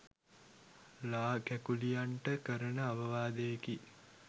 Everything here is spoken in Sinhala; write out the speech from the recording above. ලා කැකුලියන්ට කරන අවවාදයකි